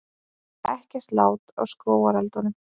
Ekkert lát á skógareldunum